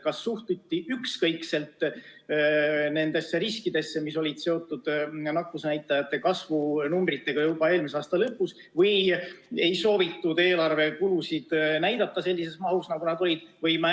Kas suhtuti ükskõikselt nendesse riskidesse, mis olid seotud nakkusnäitajate kasvuga juba eelmise aasta lõpus, või ei soovitud eelarvekulusid näidata sellises mahus, nagu need olid?